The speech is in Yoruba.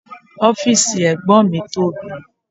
Ọ́fìsì ẹ̀gbọ́n mi tóbi